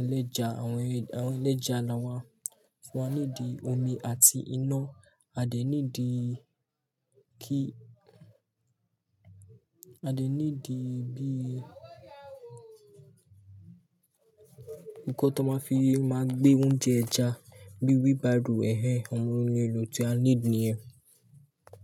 Eléja, àwọn erin, àwọn eléja la wà. So I need omi àti iná. A dè nídi kí, a lè nídi bí, ǹkan tó máa fi máa gbé oúnjẹ ẹja, bí wheelbarrow, ẹ̀hẹ̀, àwọn ohun èlò tí a need nìyẹn.